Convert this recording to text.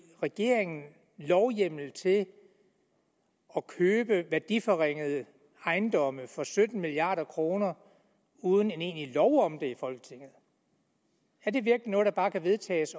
regeringen lovhjemmel til at købe værdiforringede ejendomme for sytten milliard kroner uden en egentlig lov om det i folketinget er det virkelig noget der bare kan vedtages